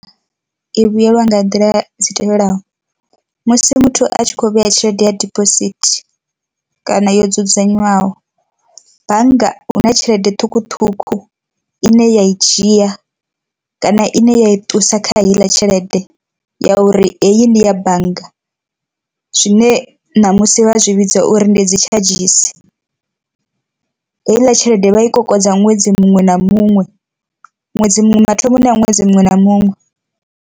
I vhuyelwa nga nḓila dzi tevhelaho, musi muthu a tshi kho vhea tshelede ya dibosithi kana yo dzudzanywaho, bannga huna tshelede ṱhukhuṱhukhu ine ya i dzhia kana ine ya i ṱusa kha heiḽa tshelede ya uri heyi ndi ya bannga, zwine ṋamusi vha zwi vhidza uri ndi dzi tshadzhisi. Heiḽa tshelede i vha i kokodza ṅwedzi muṅwe na muṅwe ṅwedzi muṅwe mathomoni a ṅwedzi muṅwe na muṅwe.